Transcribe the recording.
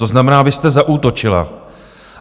To znamená, vy jste zaútočila.